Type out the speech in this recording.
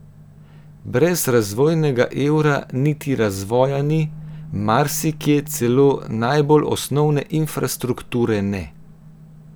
Brez razvojnega evra niti razvoja ni, marsikje celo najbolj osnovne infrastrukture ne.